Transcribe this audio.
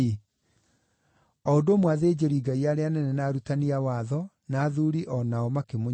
O ũndũ ũmwe athĩnjĩri-Ngai arĩa anene, na arutani a watho, na athuuri o nao makĩmũnyũrũria.